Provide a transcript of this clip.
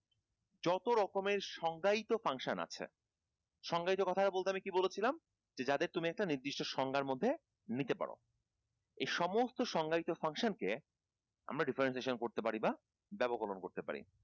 যত রকমের সংজ্ঞায়িত function আছে সংজ্ঞায়িত কথা টা বলতে আমি কি বলেছিলাম যে যাদের তুমি একটা নির্দিষ্ট সংজ্ঞার মধ্যে নিতে পারো এ সমস্ত সংজ্ঞায়িত function কে আমরা differentiation করতে পারি বা ব্যাপককরণ করতে পার